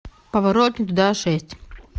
поворот не туда шесть